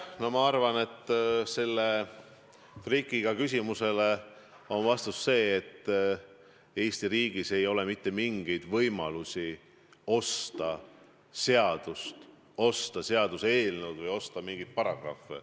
No ma arvan, et vastus sellele trikiga küsimusele on see, et Eesti riigis ei ole mitte mingeid võimalusi osta seadust, osta seaduseelnõu või osta mingeid paragrahve.